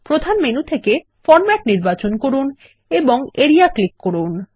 প্রধান মেনু থেকে ফরমেট নির্বাচন করুন এবং এরিয়া ক্লিক করুন